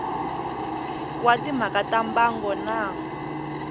wa timhaka ta mbango na